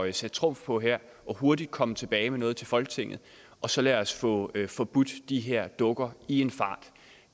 at sætte trumf på her og hurtigt komme tilbage med noget til folketinget og så lad os få forbudt de her dukker i en fart